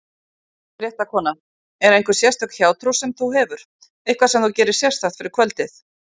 Fréttakona: Er einhver sérstök hjátrú sem þú hefur, eitthvað sem þú gerir sérstakt fyrir kvöldið?